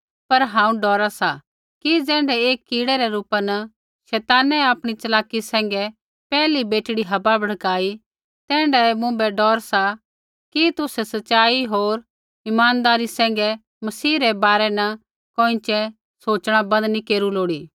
पर हांऊँ डौरा सा कि ज़ैण्ढै एक कीड़ै रै रूपा न शैतानै आपणी च़लाकी सैंघै पैहली बेटड़ी हव्वा भड़काई तैण्ढै ही मुँभै डौर सा कि तुसै सच़ाई होर इमानदारी सैंघै मसीह रै बारै न कोइँछ़ै सोच़णा बन्द नी केरू लोड़ी